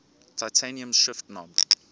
titanium shift knob